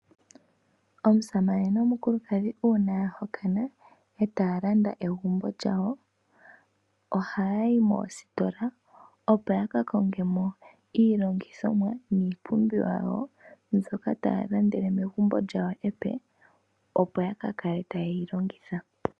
Omusamane nomukulukadhi uuna ya hokana e taya landa egumbo lyawo ohaya yi moositola opo ya ka konge mo iilongithomwa niipumbiwa yawo mbyoka taya landele megumbo lyawo epe opo ya ka kale taye yi longitha.